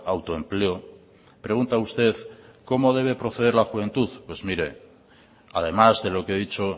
autoempleo pregunta usted cómo debe proceder la juventud pues mire además de lo que he dicho